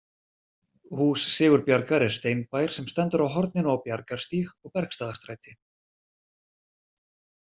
Hús Sigurbjargar er steinbær sem stendur á horninu á Bjargarstíg og Bergstaðastræti.